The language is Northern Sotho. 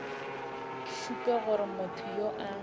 šupe gore motho yo a